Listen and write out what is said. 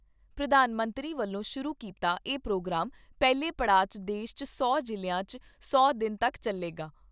ਪ੍ਰਧਾਨ ਮੰਤਰੀ ਵੱਲੋਂ ਸ਼ੁਰੂ ਕੀਤਾ ਇਹ ਪ੍ਰੋਗਰਾਮ ਪਹਿਲੇ ਪੜਾਅ 'ਚ ਦੇਸ਼ 'ਚ ਸੌ ਜ਼ਿਲ੍ਹਿਆਂ 'ਚ ਸੌ ਦਿਨ ' ਤੱਕ ਚੱਲੇਗਾ।